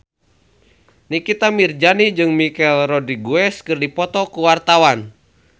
Nikita Mirzani jeung Michelle Rodriguez keur dipoto ku wartawan